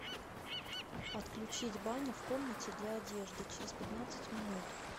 отключить баня в комнате для одежды через пятнадцать минут